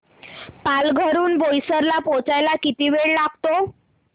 पालघर हून बोईसर ला पोहचायला किती वेळ लागतो